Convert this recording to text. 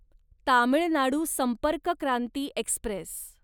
Tamil Nadu Sampark Kranti Express